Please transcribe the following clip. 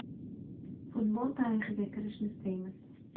Futbol tarixiga kirishni istaymiz.